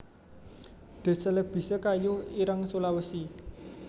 D celebica kayu ireng Sulawesi